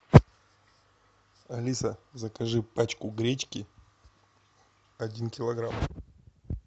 алиса закажи пачку гречки один килограмм